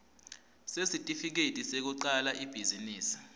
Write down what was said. sesitifiketi sekucala ibhizinisi